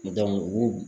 u